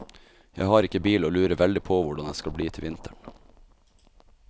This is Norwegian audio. Jeg har ikke bil og lurer veldig på hvordan det skal bli til vinteren.